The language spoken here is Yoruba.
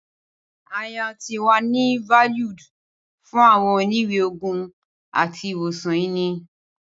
Ayan ti wa ni valued fun awọn oniwe-oogun ati iwosan ini